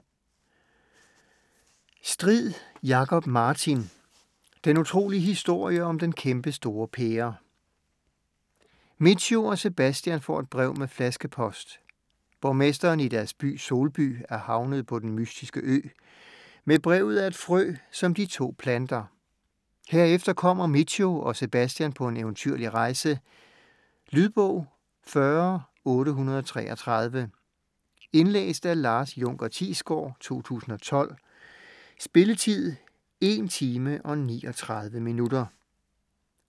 Strid, Jakob Martin: Den utrolige historie om den kæmpestore pære Mitcho og Sebastian får et brev med flaskepost. Borgmesteren i deres by Solby er havnet på Den Mystiske Ø. Med brevet er et frø, som de to planter. Herefter kommer Mitcho og Sebastian på en eventyrlig rejse. Lydbog 40833 Indlæst af Lars Junker Thiesgaard, 2012. Spilletid: 1 timer, 39 minutter.